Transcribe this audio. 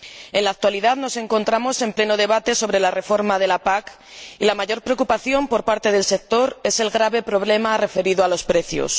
En la actualidad nos encontramos en pleno debate sobre la reforma de la PAC, y la mayor preocupación por parte del sector es el grave problema referido a los precios.